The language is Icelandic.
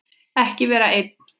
Ekki vera einn.